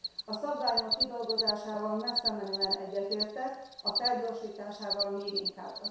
A szabványok kidolgozásával messzemenően egyetértek, felgyorsításával még inkább.